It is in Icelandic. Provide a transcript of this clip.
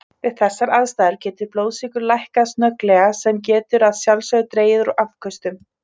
Við þessar aðstæður getur blóðsykur lækkað snögglega sem getur að sjálfsögðu dregið úr afköstum.